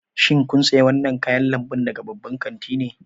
Shin kun sayi wannan kayan lambu daga babban kanti ne?